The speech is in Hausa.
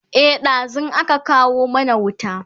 e ɗazun aka kawo mana wuta